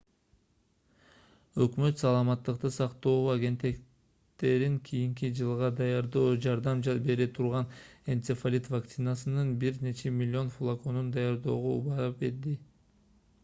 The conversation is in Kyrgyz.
өкмөт саламаттыкты сактоо агенттиктерин кийинки жылга даярдоого жардам бере турган энцефалит вакцинасынын бир нече миллион флаконун даярдоого убада берди